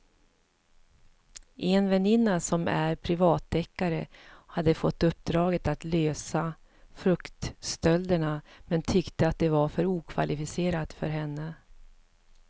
En väninna som är privatdeckare hade fått uppdraget att lösa fruktstölderna men tyckte att det var för okvalificerat för henne.